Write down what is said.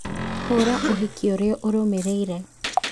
hũra ũhiki ũrĩa ũrũmĩrĩire